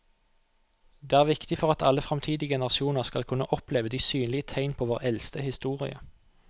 Det er viktig for at alle fremtidige generasjoner skal kunne oppleve de synlige tegn på vår eldste historie.